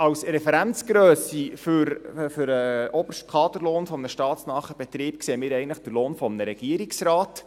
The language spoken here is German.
Als Referenzgrösse für den obersten Kaderlohn eines staatsnahen Betriebs sehen wir eigentlich den Lohn eines Regierungsrates.